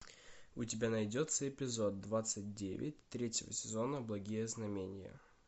у тебя найдется эпизод двадцать девять третьего сезона благие знамения